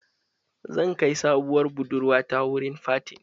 Zan kai sabowar budurwa ta wurin fatin